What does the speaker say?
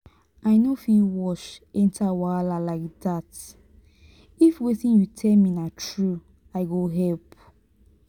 i no fit watch enter wahala like dat if wetin you tell me na through i go help.